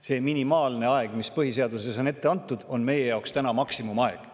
See minimaalne aeg, mis põhiseaduses on ette antud, on meie jaoks täna maksimumaeg.